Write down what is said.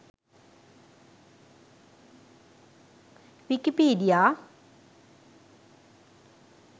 wikipedia